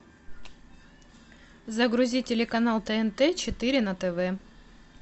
загрузи телеканал тнт четыре на тв